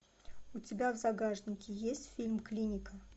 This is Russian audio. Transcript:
у тебя в загашнике есть фильм клиника